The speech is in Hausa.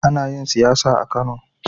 Ana yin siyasa a Kano.